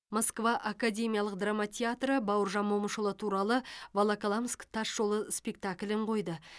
москва академиялық драма театры бауыржан момышұлы туралы волоколамск тас жолы спектаклін қойды